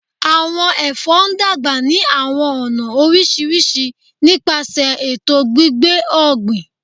Awọn èfó dàgbà ni àwọn ọna orísirísi nípasẹ ètò gbígbé ògbìn